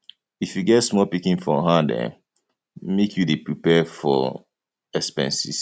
if you get small pikin for hand um make you dey prepare for um expenses